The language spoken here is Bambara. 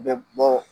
Bɛ bɔ